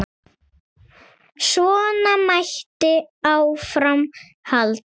Svona mætti áfram halda.